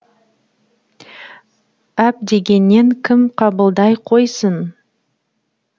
әп дегеннен кім қабылдай қойсын